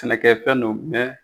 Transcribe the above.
Sɛnɛkɛfɛn don mɛn